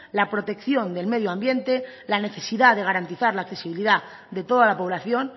la protección del medio ambiente la necesidad de garantizar la accesibilidad de toda la población